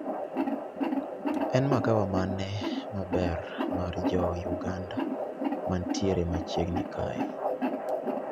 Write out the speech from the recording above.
En magawa mane maberb mar jo Uganda mantiere machiegni kae